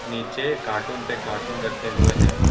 नीचे कार्टून पे कार्टून रखे हुए हैं।